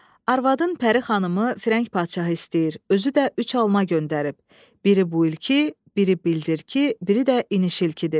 Arvadın Pəri xanımı firəng padşahı istəyir, özü də üç alma göndərib, biri bu ilki, biri bildirki, biri də inişilkidir.